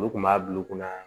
Olu kun b'a bulu kunna